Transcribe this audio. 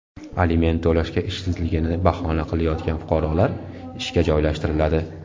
Aliment to‘lashga ishsizligini bahona qilayotgan fuqarolar ishga joylashtiriladi.